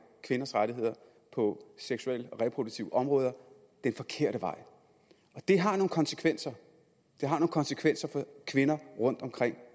kvinders rettigheder på seksuelle og reproduktive områder den forkerte vej det har nogle konsekvenser konsekvenser for kvinder rundt omkring